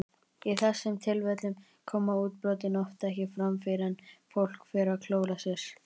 Í þessum tilfellum koma útbrotin oft ekki fram fyrr en fólk fer að klóra sér.